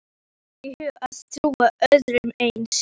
Hverjum dytti í hug að trúa öðru eins?